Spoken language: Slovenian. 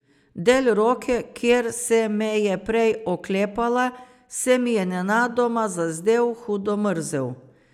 Del roke, kjer se me je prej oklepala, se mi je nenadoma zazdel hudo mrzel.